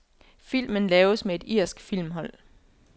Filmen laves med et irsk filmhold.